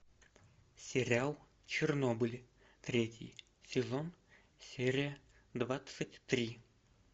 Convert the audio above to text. сериал чернобыль третий сезон серия двадцать три